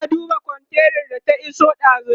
yana duba kontainar da ta iso dazun